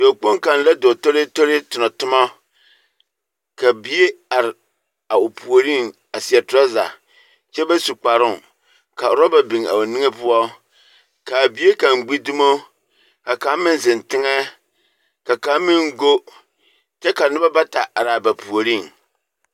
Dɔɔkpoŋ kaŋ la dɔɔ toree toree tonɔ tomɔ, ka bie are, a o puoriŋ a seɛ toraza, kyɛ ba su kparoŋ, ka oraba, kaa bie kaŋ gbi dumo, ka kaŋ meŋ zeŋ teŋɛ, ka kaŋ meŋ go, kyɛ ka noba bata araa ba puoriŋ.